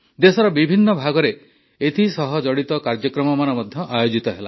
ଦେଶର ବିଭିନ୍ନ ଭାଗରେ ଏଥିସହ ଜଡ଼ିତ କାର୍ଯ୍ୟକ୍ରମମାନ ମଧ୍ୟ ଆୟୋଜିତ ହେଲା